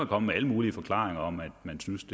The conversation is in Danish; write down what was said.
komme med alle mulige forklaringer om at man synes